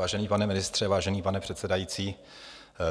Vážený pane ministře, vážený pane předsedající,